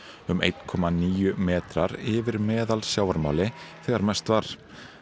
um einn komma níu metrar yfir meðal sjávarmáli þegar mest var